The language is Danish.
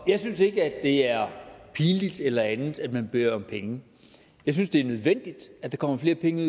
jeg synes ikke det er pinligt eller andet at man beder om penge jeg synes det er nødvendigt at der kommer flere penge